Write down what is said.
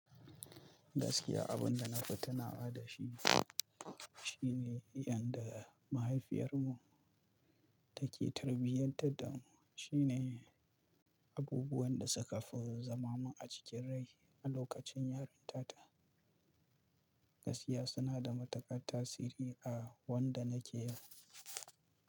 Gaskiya abin da na fi tunawa da shi shine yanda mahaifiyar mu take tarbiyantar da mu, shine abubuwan da suka fi zamamu a cikin rai a lokacin yarinta ta. Gaskiya suna da matuƙar tasiri a wanda nake yanzu.